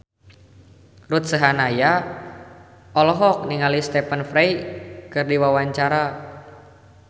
Ruth Sahanaya olohok ningali Stephen Fry keur diwawancara